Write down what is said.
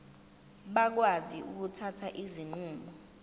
bakwazi ukuthatha izinqumo